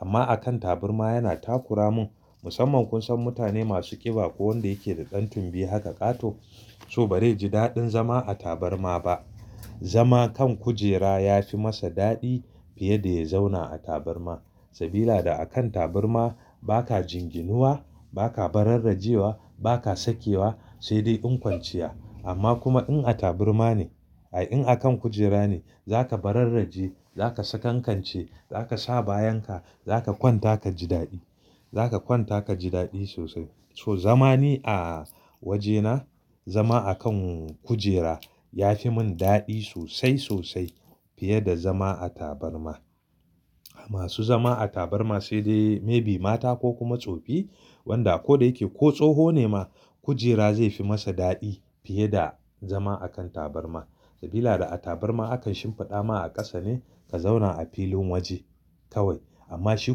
Amma akan tabarma yana takura mun, musamman kun san mutane masu ƙiba ko wanda yake da ɗan tunbi haka ƙato, so ba zai ji daɗin zama a tabarma ba. Zama kan kujera ya fi masa daɗi fiye da ya zauna a tabarma. Sabida da akan tabarma ba ka jinginuwa, ba ka bararrajewa, ba ka sakewa, sai dai in kwanciya. Amma kuma in a tabarma ne, ai in akan kujera ne za ka bararraje, za ka sakankance, za ka sa bayan ka, za ka kwanta ka ji daɗi. Za ka kwanta ka ji daɗi sosai. So zama ni a wajena, zama akan kujera ya fi mun daɗi sosai sosai fiye da zama a tabarma. Masu zama a tabarma sai dai maybe mata ko kuma tsofi wanda ko da yake ko tsoho ne ma kujera zai fi masa daɗi fiye da zama akan tabarma. Sabida da a tabarma akan shimfiɗa ma a ƙasa ne ka zauna a filin waje kawai. Amma shi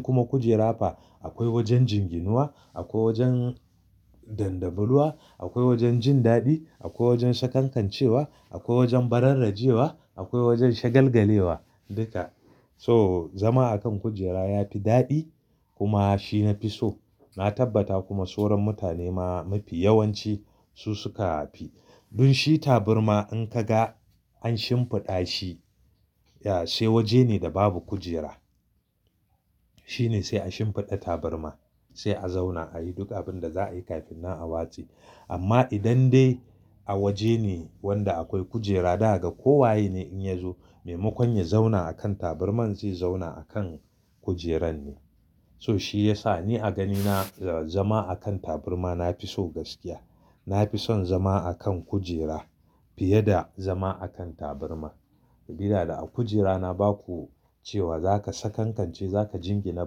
kuma kujera fa, akwai wajen jinginuwa, akwai wajen dandamuluwa, akwai wajen jin daɗi, akwai wajen sakankancewa, akwai wajen bararrajewa, akwai wajen shagalgalewa duka. So zama akan kujera ya fi daɗi kuma shi nafi so. Na tabbata kuma sauran mutane ma mafi yawanci su suka fi. Dun shi tabarma in ka ga an shimfiɗa shi, ya sai waje ne da babu kujera. Shine sai a shimfiɗa tabarma, sai a zauna ayi duk abinda za a yi kafin nan a watse. Amma idan dai a waje ne wanda akwai kujera daga ko waye ne in ya zo, maimakon ya zauna akan tabarma zai zauna akan kujeran ne. So shi yasa ni a ganina zama akan tabarma nafi so gaskiya. Nafi son zama akan kujera fiye da zama akan tabarma. Sabida da a kujera na baku cewa za ka sakankance, za ka jingina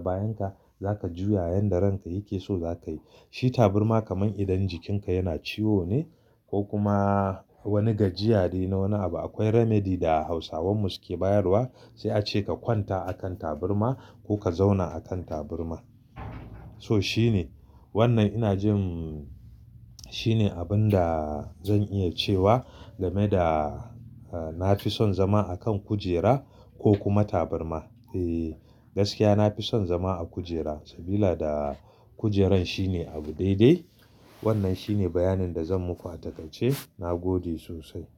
bayan ka, za ka juya yanda ranka yake so za ka yi. Shi tabarma kaman idan jikin ka yana ciwo ne ko kuma wani gajiya de na wani abu akwai remedy da hausawan mu suke bayarwa sai a ce ka kwanta akan tabarma ko ka zauna akan tabarma. So shine wannan ina jin shine abinda zan iya cewa game da nafi son zama akan kujera ko kuma tabarma. Eh gaskiya nafison zama a kujera sabida da kujeran shine abu daidai. Wannan shine bayanin da zan muku a takaice na gode sosai.